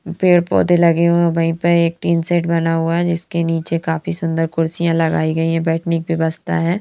पेड़ पौधे लगे हुए वहीं पे एक टीन सेट बना हुआ है जिसके नीचे काफी सुंदर कुर्सियां लगाई गई है बैठने की व्यवस्था है।